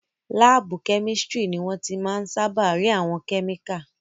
Láàbù kẹ́mísítírì ni wọ́n ti máa n sáábà rí àwọn kẹ́míkà